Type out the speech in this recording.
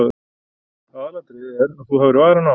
Aðalatriðið er að þú hafir varann á.